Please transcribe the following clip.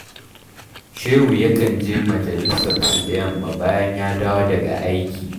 Shehu yakan je majalisarsu da yamma bayan ya dawo daga aiki